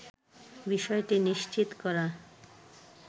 বিষয়টি নিশ্চিত করা